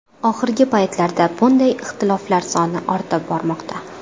Oxirgi paytlarda bunday ixtiloflar soni ortib bormoqda.